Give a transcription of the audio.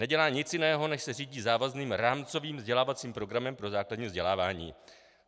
Nedělá nic jiného, než se řídí závazným rámcovým vzdělávacím programem pro základní vzdělávání.